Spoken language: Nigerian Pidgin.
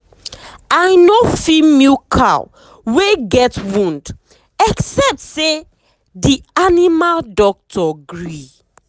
i nor fit milk cow wey get wound except say d animal doctor gree.